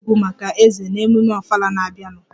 M ga-agba egwú maka eze na ememme ofala na-abịanụ